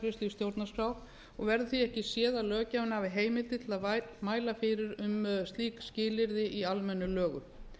stjórnarskrá og verður því ekki séð að löggjafinn hafi heimildir til að mæla fyrir um slík skilyrði í almennum lögum